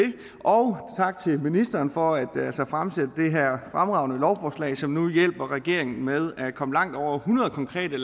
og tak til ministeren for at fremsætte det her fremragende lovforslag som hjælper regeringen med at komme langt over hundrede konkrete